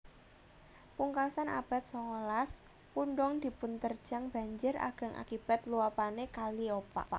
Pungkasan abad songolas pundong dipunterjang banjir ageng akibat luapane kaliopak